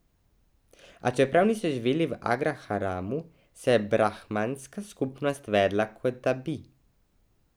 A čeprav niso živeli v agraharamu, se je brahmanska skupnost vedla, kot da bi.